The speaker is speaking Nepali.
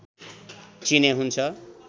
चिने हुन्छ